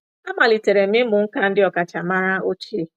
Amalitere m ịmụ nkà ndị ọkacha maara ochie.